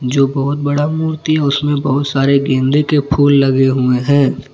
जो बहुत बड़ा मूर्ति है उसमें बहुत सारे गेंदे के फूल लगे हुए हैं।